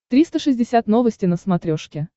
триста шестьдесят новости на смотрешке